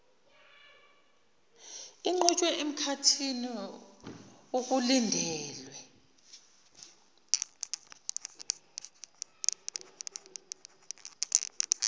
iqhutshwe emkhathini okulindelwe